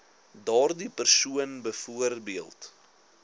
daardie persoon byvoorbeeld